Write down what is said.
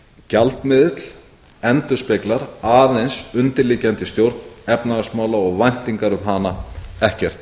gjaldmiðill endurspeglar aðeins undirliggjandi stjórn efnahagsmála og væntingar um hana ekkert